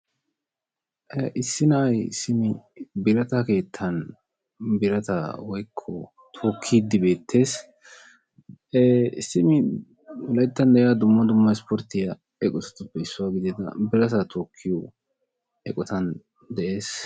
Issi na'ay simi birata keettan birata woykko tookid beettees. Simi wolayttan de'iyaa dumma dummaa isporttiyaa eqqotatuppe issuwa gidia birataa tokkiyo eqqotan de'ees.